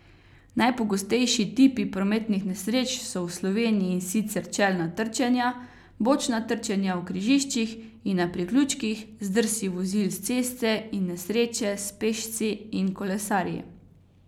Najpogostejši tipi prometnih nesreč so v Sloveniji sicer čelna trčenja, bočna trčenja v križiščih in na priključkih, zdrsi vozil s ceste in nesreče s pešci in kolesarji.